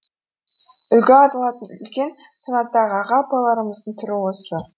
үлгі алатын үлкен санаттағы аға апаларымыздың түрі осы